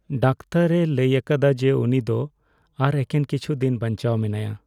ᱰᱟᱠᱛᱟᱨᱼᱮ ᱞᱟᱹᱭ ᱟᱠᱟᱫᱟ ᱡᱮ ᱩᱱᱤ ᱫᱚ ᱟᱨ ᱮᱠᱮᱱ ᱠᱤᱪᱷᱩ ᱫᱤᱱ ᱵᱟᱧᱪᱟᱣ ᱢᱮᱱᱟᱭᱟ ᱾